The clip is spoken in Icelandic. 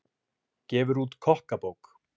Gefur út kokkabók